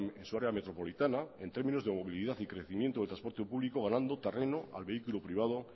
en su área metropolitana en términos de movilidad y crecimiento de transporte público ganando terreno al vehículo privado